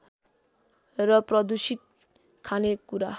र प्रदूषित खानेकुरा